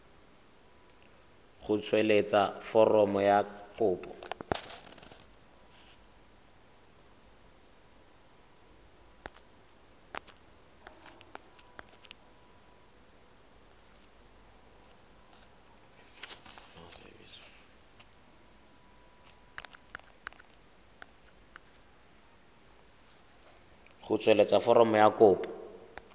go tsweletsa foromo ya kopo